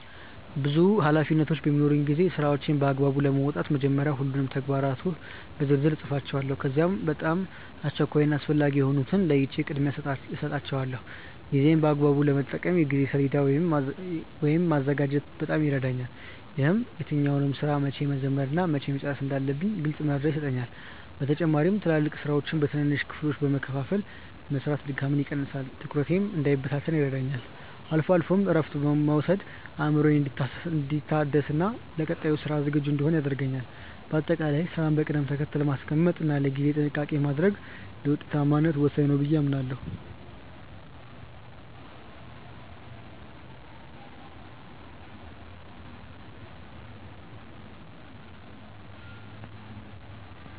ብዙ ኃላፊነቶች በሚኖሩኝ ጊዜ ስራዎቼን በአግባቡ ለመወጣት መጀመሪያ ሁሉንም ተግባራት በዝርዝር እጽፋቸዋለሁ። ከዚያም በጣም አስቸኳይ እና አስፈላጊ የሆኑትን ለይቼ ቅድሚያ እሰጣቸዋለሁ። ጊዜዬን በአግባቡ ለመጠቀም የጊዜ ሰሌዳ ወይም ማዘጋጀት በጣም ይረዳኛል። ይህም የትኛውን ስራ መቼ መጀመር እና መቼ መጨረስ እንዳለብኝ ግልጽ መረጃ ይሰጠኛል። በተጨማሪም ትላልቅ ስራዎችን በትንንሽ ክፍሎች በመከፋፈል መስራት ድካምን ይቀንሳል፤ ትኩረቴም እንዳይበታተን ይረዳኛል። አልፎ አልፎም እረፍት መውሰድ አእምሮዬ እንዲታደስና ለቀጣይ ስራ ዝግጁ እንድሆን ያደርገኛል። በአጠቃላይ ስራን በቅደም ተከተል ማስቀመጥ እና ለጊዜ ጥንቃቄ ማድረግ ለውጤታማነት ወሳኝ ነው ብዬ አምናለሁ።